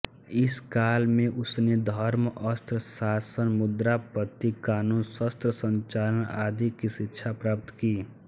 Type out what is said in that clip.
इस काल में उसने धर्म अर्थ शासन मुद्रापद्धति क़ानून शस्त्रसंचालन आदि की शिक्षा प्राप्त की